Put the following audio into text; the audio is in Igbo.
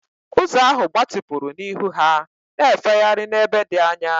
Ụzọ ahụ gbatịpụrụ n'ihu ha, na-efegharị n'ebe dị anya.